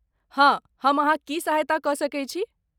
हँ, हम अहाँक की सहायता कऽ सकैत छी?